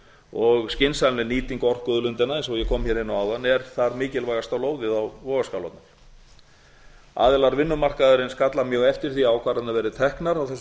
og skynsamleg nýting orkuauðlindanna eins og ég kom hér inn á áðan er þar mikilvægasta lóðið á vogarskálarnar aðilar vinnumarkaðarins kalla mjög eftir því að ákvarðanir verði teknar á þessu